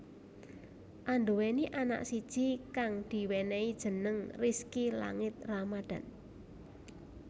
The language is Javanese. Anduweni anak siji kang diwenehi jeneng Rizky Langit Ramadhan